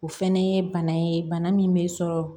O fɛnɛ ye bana ye bana min bɛ sɔrɔ